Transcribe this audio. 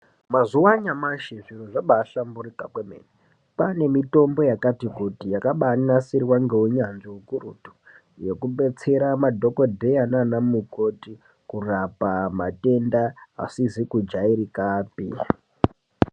Mazuva anyamashi zviro zvabahlamburika kwemene kwane mitombo yakati kuti yakabanasirwa ngeunyanzvi hukurutu. Yekubetsera madhogodheya nana mukoti kurapa matenda asizi kujairikapi.